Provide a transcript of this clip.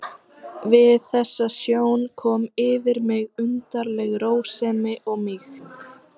Við þessa sjón kom yfir mig undarleg rósemi og mýkt.